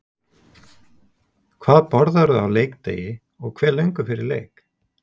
Hvað borðarðu á leikdegi og hve löngu fyrir leik?